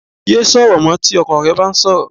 Yéé sọ̀rọ̀ mọ́ tí ọkọ rẹ bá ń sọ̀rọ̀